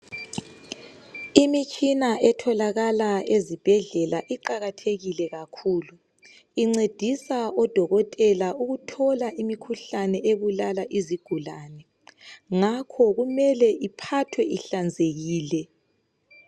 Imitshina etholakala ezibhedlela iqakathekile kakhulu. Incedisa odokotela ukuthola imikhuhlane ebulala izigulane, ngakho kumele iphathwe ihlanzekile.